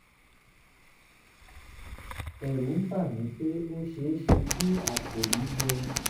ẹ̀rù ń bà mí pé ó ṣe é ṣe kí àpò mi gbẹ